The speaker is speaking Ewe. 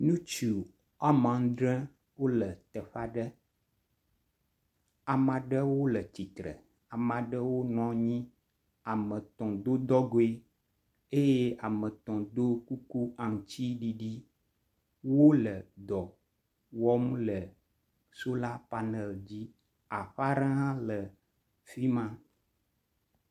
Ŋtsu woame andre wole teƒe aɖe. Ame aɖewo le tsitre. Ame aɖewo nɔnyi. Ame etɔ̃ do dɔgoe eye ametɔ̃ do kuku aŋutsiɖiɖi. Wole dɔ wɔm le solar panel dzi. Aƒe aɖe hã le afi ma.